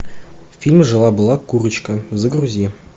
фильм жила была курочка загрузи